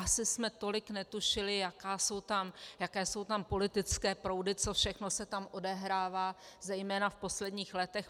Asi jsme tolik netušili, jaké jsou tam politické proudy, co všechno se tam odehrává zejména v posledních letech.